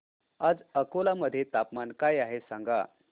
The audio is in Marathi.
आज अकोला मध्ये तापमान काय आहे सांगा